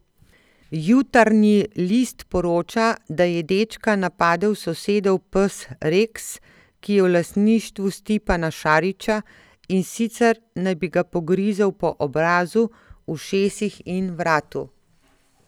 Jutarnji list poroča, da je dečka napadel sosedov pes Reks, ki je v lastništvu Stipana Šarića, in sicer naj bi ga pogrizel po obrazu, ušesih in vratu.